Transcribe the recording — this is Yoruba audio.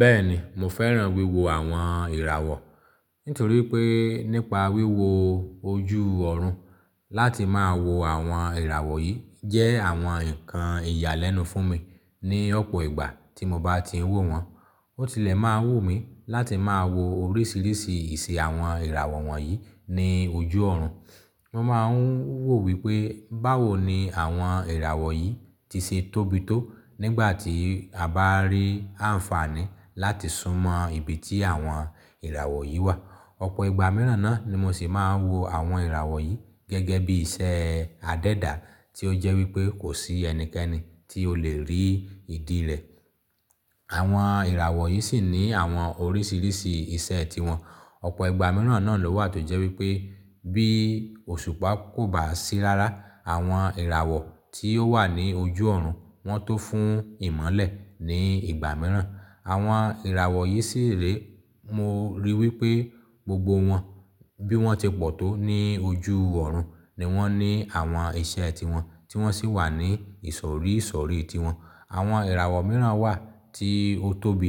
Bẹ́ẹ̀ni, mo fẹ́ràn wíwo àwọn ìràwọ̀. Nítorí pé nípa wíwo ojú ọ̀run láti máa wo àwọn ìràwọ̀ yìí jẹ́ àwọn ǹkan ìyàlẹ́nu fún mi ní ọ̀pọ̀ ìgbà tí mo bá ti ń wò wọ́n. Ó tilẹ̀ máa ń wù mí láti máa wo oríṣiríṣi ìṣe àwọn ìràwọ̀ wọ̀nyí ní ojú ọ̀run. Mo máa ń wò wípé báwo ni àwọn ìràwọ̀ yìí ti ṣe tóbi tó nígbà tí a bá rí àǹfààní láti súnmọ́ ibi tí àwọn ìràwọ̀ yìí wà. Ọ̀pọ̀ ìgbà mìíràn náà ni mo sì máa ń wo àwọn ìràwọ̀ yìí gẹ́gẹ́ bí iṣẹ́ adẹ́dà tí ó jẹ́ wípé kò sí ẹnikẹ́ni tí ó le rí ìdí rẹ̀. Àwọn ìràwọ̀ yìí sì ní àwọn oríṣiríṣi ìṣe tíwọ́n. Ọ̀pọ̀ ìgbà mìíràn náà ló wà tó jẹ́ wípé bí òṣùpá kò bá sí rara àwọn ìràwọ̀ tí ó wà ní ojú ọ̀run, wọ́n tó fún ìmọ́lẹ̀ ní ìgbà mìíràn. Àwọn ìràwọ̀ yìí sì le, mo rí i wípé gbogbo wọn bí wọ́n ti pọ̀ tó ní ojú ọ̀run ni wọ́n ní àwọn ìṣe tíwọ́n, tí wọ́n sì wà ní ìsọ̀rí ìsọ̀rí tiwọn. Àwọn ìràwọ̀ mìíràn wà tí ó tóbi,